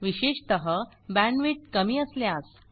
विशेषतः बँडविड्थ कमी असल्यास